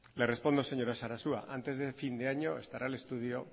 le respondo señora sarasua antes de fin de año estará el estudio